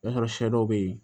O y'a sɔrɔ sɛ dɔw bɛ yen